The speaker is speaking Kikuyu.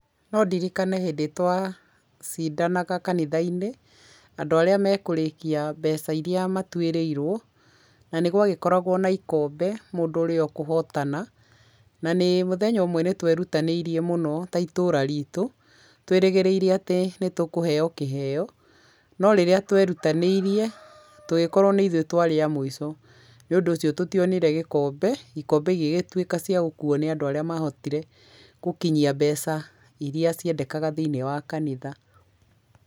No ndirikane hĩndĩ twacidanaga kanitha-inĩ, andũ arĩa mekũrĩkia mbeca iria matuĩrĩirwo na nĩgwagĩkoragwo na ikombe mũndũ ũrĩa ũkũhotana na nĩ mũthenya ũmwe nĩtwerutanĩirie mũno ta itũra ritũ, twĩrĩgĩrĩie atĩ nĩ tũkũheo kĩheo no rĩrĩa twerutanĩirie, tũgĩkorwo nĩ ithue twarĩ a mũico, nĩ ũndũ ũcio tútionire gĩkombe, ikombe igĩgĩtuĩka cia gũkuo nĩ andũ arĩa mahotire gũkinyia mbeca iria ciendekaga thĩiniĩ wa kanitha.